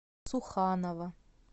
суханова